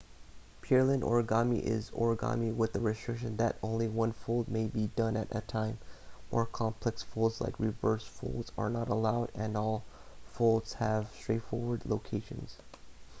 pureland origami is origami with the restriction that only one fold may be done at a time more complex folds like reverse folds are not allowed and all folds have straightforward locations